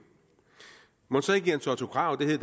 mon så ikke jens otto krag det